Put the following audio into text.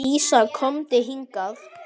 Dísa, komdu hingað!